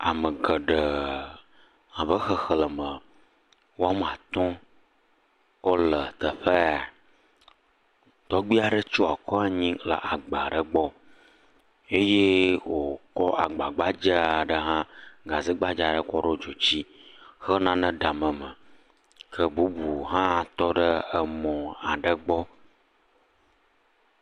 Ame aɖewo le afi sia. Woɖo nane ɖe kotokuwo dzi le anyigba. Ŋutsu aɖe si ƒe ta fu ʋi la tsyɔe akɔ ɖe anyigba.